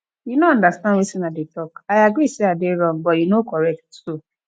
you no understand wetin i dey talk i agree say i dey wrong but you no correct too